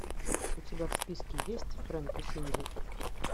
у тебя в списке есть фрэнк и синди